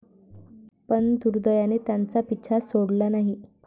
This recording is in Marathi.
पण दुर्दैवाने त्यांचा पिच्छा सोडला नाही.